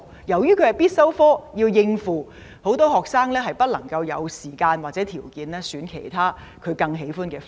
由於通識是必修科，為了應付這科目，很多學生沒有時間或條件選讀其他他們更喜歡的學科。